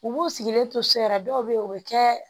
U b'u sigilen to so yɛrɛ dɔw bɛ yen o bɛ kɛ